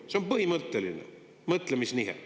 See on põhimõtteline mõtlemisnihe.